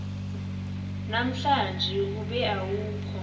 namhlanje ube awukho